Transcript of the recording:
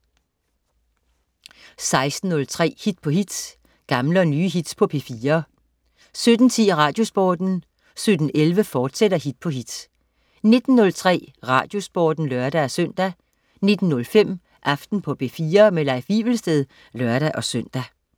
16.03 Hit på hit. Gamle og nye hits på P4 17.10 Radiosporten 17.11 Hit på hit, fortsat 19.03 Radiosporten (lør-søn) 19.05 Aften på P4. Leif Wivelsted (lør-søn)